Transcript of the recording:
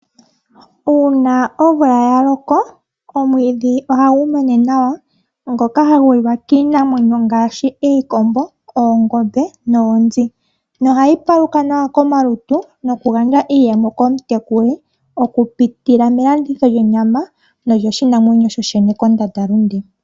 Uuna omvula ya loko omwiidhi ohagu mene nawa ngoka hagu liwa kiinamwenyo ngaashi iikombo, oongombe noonzi nohayi paluka nawa komalutu noku gandja iiyemo komutekuli oku pitila melanditho lyonyama nolyoshinamwenyo sho shene kondanda lunde.